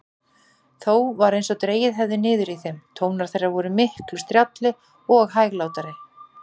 Þó var einsog dregið hefði niður í þeim: tónar þeirra vor miklu strjálli og hæglátari.